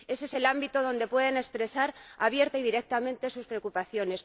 Ese es el ámbito donde pueden expresar abierta y directamente sus preocupaciones.